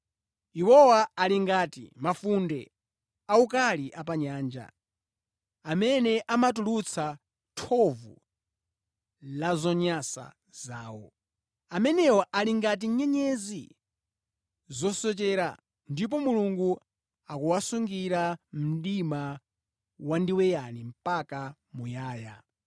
Iwowa ali ngati mafunde awukali apanyanja, amene amatulutsa thovu la zonyansa zawo. Amenewa ali ngati nyenyezi zosochera, ndipo Mulungu akuwasungira mdima wandiweyani mpaka muyaya.